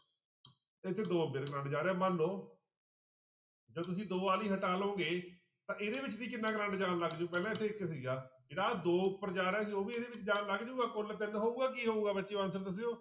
ਇੱਥੇ ਦੋ ਕਰੰਟ ਜਾ ਰਿਹਾ ਮੰਨ ਲਓ ਜੇ ਤੁਸੀਂ ਦੋ ਵਾਲੀ ਹਟਾ ਲਓਗੇ ਤਾਂ ਇਹਦੇ ਵਿੱਚ ਵੀ ਕਿੰਨਾ ਕਰੰਟ ਜਾਣ ਲੱਗ ਜਾਊ, ਪਹਿਲਾਂ ਇੱਥੇ ਇੱਕ ਸੀਗਾ, ਇਹਦਾ ਦੋ ਉੱਪਰ ਜਾ ਰਿਹਾ ਸੀ ਉਹ ਵੀ ਇਹਦੇ ਵਿੱਚ ਜਾ ਲੱਗ ਜਾਊਗਾ ਕੁੱਲ ਤਿੰਨ ਹੋਊਗਾ ਕੀ ਹੋਊਗਾ ਬੱਚਿਓ answer ਦੱਸਿਓ।